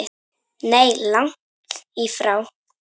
Nei, langt í frá.